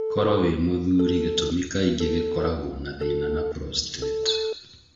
Koro wĩ mũthuri gĩtũmi kaĩngĩ gĩkoragwo na thĩna na prostrate.